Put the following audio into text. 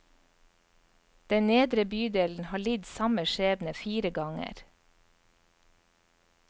Den nedre bydelen har lidd samme skjebne fire ganger.